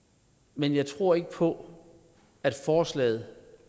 men jeg tror ikke på at forslaget